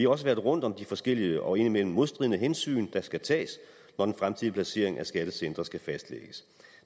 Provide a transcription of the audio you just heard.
også været rundt om de forskellige og indimellem modstridende hensyn der skal tages når den fremtidige placering af skattecentre skal fastlægges